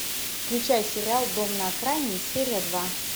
включай сериал дом на окраине серия два